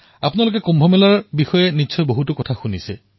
আপোনালোকে কুম্ভ মেলাৰ বিষয়ে যথেষ্ট শুনিছে